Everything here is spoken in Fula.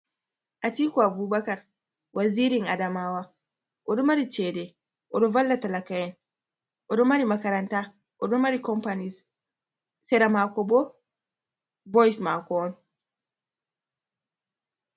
Atiku Abubakar, wazirin Adamawa, oɗo mari chede. Oɗo valla talaka en, oɗo mari makaranta, oɗo mari companis, seramakobo boyse mako on.